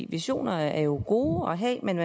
visioner er jo gode at have men